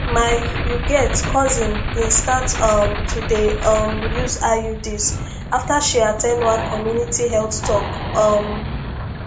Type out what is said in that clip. my you get cousin been start um to dey um use iuds after she at ten d one community health talk um